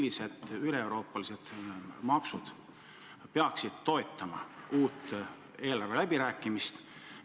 Missugused üleeuroopalised maksud peaksid toetama uut eelarveläbirääkimist?